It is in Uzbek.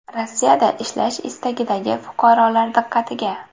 Rossiyada ishlash istagidagi fuqarolar diqqatiga!.